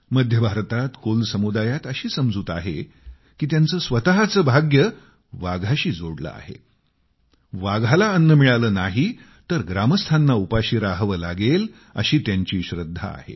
मध्य भारतातले कोल समुदायात अशी समजूत आहे की त्यांचे स्वतःचे भाग्य वाघाशी जोडले आहे वाघाला अन्न मिळाले नाही तर ग्रामस्थांना उपाशी राहावे लागेल अशी त्यांची श्रद्धा आहे